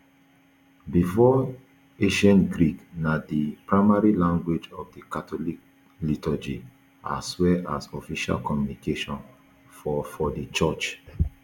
before ancient greek na di primary language of di catholic liturgy as well as official communication for for di church